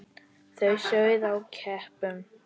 Það sauð á keipum.